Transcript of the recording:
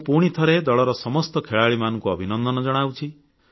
ମୁଁ ପୁଣିଥରେ ଦଳର ସମସ୍ତ ଖେଳାଳିମାନଙ୍କୁ ଅଭିନନ୍ଦନ ଜଣାଉଛି